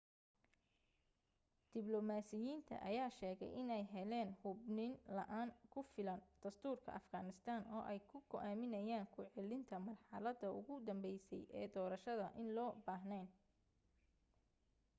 diblomaasiyiinta ayaa sheegay inay heleen hubniin la'aan ku filan dastuurka afghanistan oo ay ku go'aamiyaan ku celinta marxaladda ugu dambeysay ee doorashadda in loo baahneen